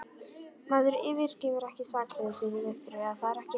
Maður yfirgefur ekki sakleysið, Viktoría, það er ekki hægt.